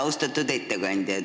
Austatud ettekandja!